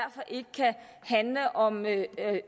ikke handle om